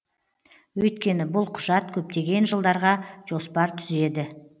өйткені бұл құжат көптеген жылдарға жоспар түзеді